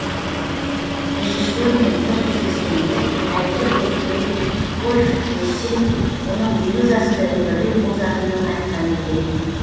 режиссермен бір кездескенде әйгілі көріпкел вольф мессинг оның елу жасында өмірден озатынын айтқан екен